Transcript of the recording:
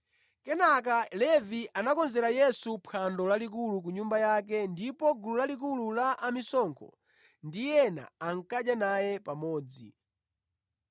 Kenaka Levi anakonzera Yesu phwando lalikulu ku nyumba yake ndipo gulu lalikulu la amisonkho ndi ena ankadya naye pamodzi.